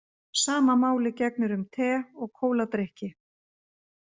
Sama máli gegnir um te og kóladrykki.